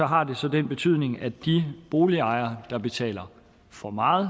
har det så den betydning at de boligejere der betaler for meget